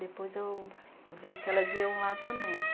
Depois eu vi que elas iam lá também.